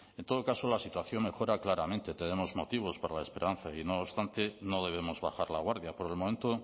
en todo caso la situación mejora claramente tenemos motivos para la esperanza y no obstante no debemos bajar la guardia por el momento